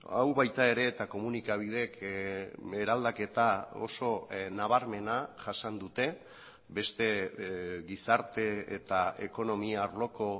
hau baita ere eta komunikabideek eraldaketa oso nabarmena jasan dute beste gizarte eta ekonomia arloko